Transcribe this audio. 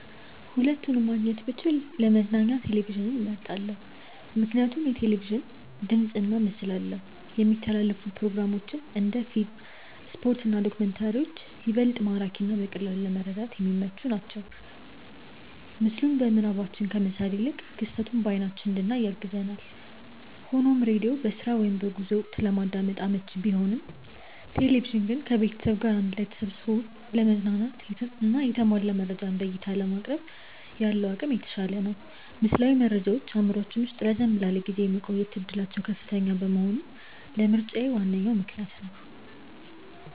ሁለቱንም ማግኘት ብችል ለመዝናኛ ቴሌቪዥንን መርጣለው። ምክንያቱም ቴሌቪዥን ድምፅና ምስል አለው፣ የሚተላለፉ ፕሮግራሞች (እንደ ፊልም፣ ስፖርት እና ዶክመንተሪዎች) ይበልጥ ማራኪና በቀላሉ ለመረዳት የሚመቹ ናቸው። ምስሉን በምናባችን ከመሳል ይልቅ ክስተቱን በአይናችን እንድናይ ያግዛል። ሆኖም ሬዲዮ በስራ ወይም በጉዞ ወቅት ለማዳመጥ አመቺ ቢሆንም፣ ቴሌቪዥን ግን ከቤተሰብ ጋር አንድ ላይ ተሰብስቦ ለመዝናናትና የተሟላ መረጃን በዕይታ ለማቅረብ ያለው አቅም የተሻለ ነው። ምስላዊ መረጃዎች በአእምሯችን ውስጥ ረዘም ላለ ጊዜ የመቆየት ዕድላቸው ከፍተኛ መሆኑም ለምርጫዬ ዋነኛ ምክንያት ነው።